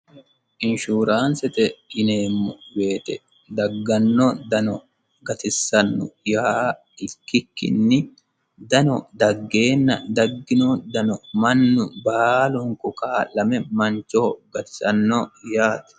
inshuuraansete yineemmo wote dagganno dano gatissanno yaa ikkikkinni dano daggeenna daggino dano mannu baalunku kaa'lame mancho gatisanno yaate.